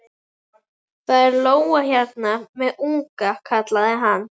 Það er lóa hérna með unga, kallaði hann.